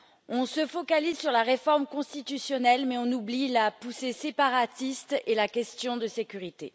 On se focalise sur la réforme constitutionnelle, mais on oublie la poussée séparatiste et la question de sécurité.